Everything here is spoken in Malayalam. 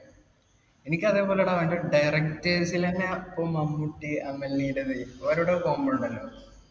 എനിക്ക് അതേപോലെ ടാ അതിൻ്റെ directors ലെന്നെ ഇപ്പൊ മമ്മൂട്ടി അമൽ നീരദ് ഇല്ലേ ഓരോരോ combo ഉണ്ടല്ലോ